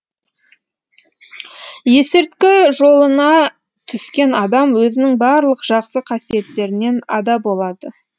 есірткі жолына түскен адам өзінің барлық жақсы қасиеттерінен ада болады